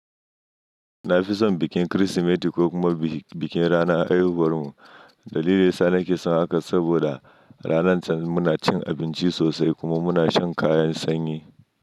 Na fi son bikin Kirsimeti ko kuma bikin ranar haihuwar mu. Dalilin daya sa nake son haka saboda ranan can muna cin abinci sosai kuma muna shan kayan sanyi.